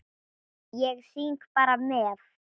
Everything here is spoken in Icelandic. Ég syng bara með.